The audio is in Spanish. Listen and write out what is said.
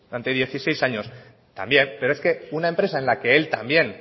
entre dieciséis años también pero es que una empresa en la que él también